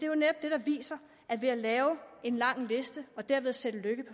jo netop det der viser at det at lave en lang liste og derved sætte lykke